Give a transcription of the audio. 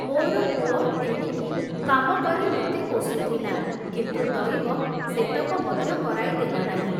ମୋର ପୁଅ ତେଣିକି କାମ କରି ମୋତେ ପୋଷୁଥିଲା, କିନ୍ତୁ ଦଇବ ସେତକ ମଧ୍ୟ କରାଇ ଦେଲା ନାହିଁ ।